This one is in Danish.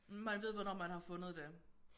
Man ved hvornår man har fundet det